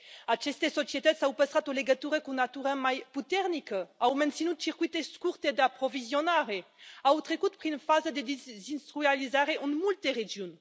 Aceste societăți au păstrat o legătură cu natura mai puternică, au menținut circuite scurte de aprovizionare, au trecut prin faza de dezindustrializare în multe regiuni.